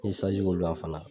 N ye saj k'o la fana.